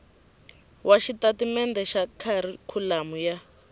wa xitatimendhe xa kharikhulamu ya